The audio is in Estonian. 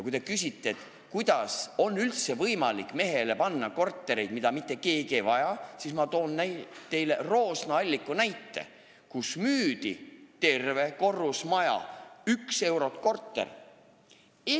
Kui te küsite, kuidas on üldse võimalik mehele panna kortereid, mida mitte keegi ei vaja, siis ma toon teile Roosna-Alliku näite, kus müüdi maha terve korrusmaja, 1 euro korteri eest.